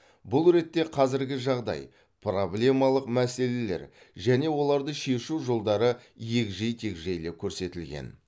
бұл ретте қазіргі жағдай проблемалық мәселелер және оларды шешу жолдары егжей тегжейлі көрсетілген